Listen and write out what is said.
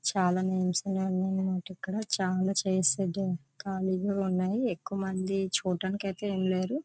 చాలా మనకు ఇక్కడ. చాలా చైర్స్ అయితే ఖాళీగా ఉన్నాయి. ఎక్కువ మంది చూడ్డానికి అయితే లేరు.